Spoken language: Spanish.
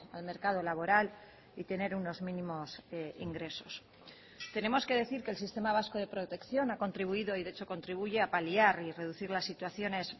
al mercado laboral y tener unos mínimos ingresos tenemos que decir que el sistema vasco de protección ha contribuido y de hecho contribuye a paliar y reducir las situaciones